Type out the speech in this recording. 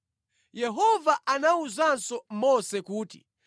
Yehova anawuzanso Mose kuti,